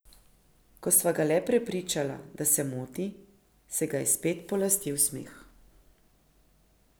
Ko sva ga le prepričala, da se moti, se ga je spet polastil smeh.